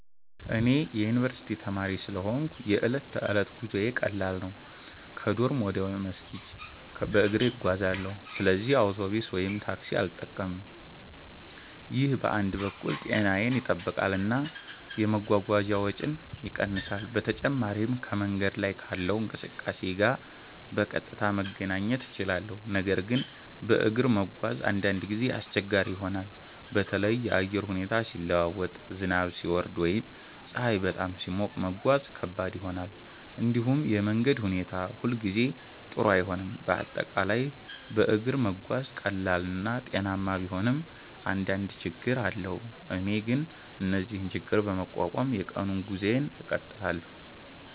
እኔ የዩኒቨርስቲ ተማሪ ስለሆንሁ የዕለት ተዕለት ጉዞዬ ቀላል ነው። ከዶርም ወደ መስጂድ በእግሬ እጓዛለሁ፣ ስለዚህ አውቶቡስ ወይም ታክሲ አልጠቀምም። ይህ በአንድ በኩል ጤናዬን ይጠብቃል እና የመጓጓዣ ወጪን ይቀንሳል። በተጨማሪም ከመንገድ ላይ ካለው እንቅስቃሴ ጋር በቀጥታ መገናኘት እችላለሁ። ነገር ግን በእግር መጓዝ አንዳንድ ጊዜ አስቸጋሪ ይሆናል። በተለይ የአየር ሁኔታ ሲለዋወጥ፣ ዝናብ ሲወርድ ወይም ፀሐይ በጣም ሲሞቅ መጓዝ ከባድ ይሆናል። እንዲሁም የመንገድ ሁኔታ ሁሉ ጊዜ ጥሩ አይሆንም፤ በአጠቃላይ በእግር መጓዝ ቀላል እና ጤናማ ቢሆንም አንዳንድ ችግኝ አለው። እኔ ግን እነዚህን ችግኝ በመቋቋም የቀኑን ጉዞዬን እቀጥላለሁ።